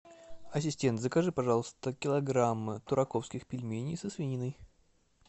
ассистент закажи пожалуйста килограмм тураковских пельменей со свининой